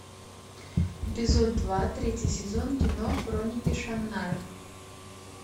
эпизод два третий сезон кино хроники шаннары